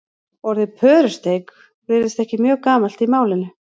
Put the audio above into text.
orðið pörusteik virðist ekki mjög gamalt í málinu